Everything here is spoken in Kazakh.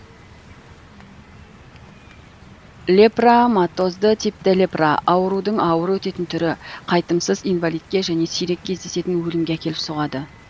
лепраматозды типті лепра аурудың ауыр өтетін түрі қайтымсыз инвалидке және сирек кездесетін өлімге әкеліп соғады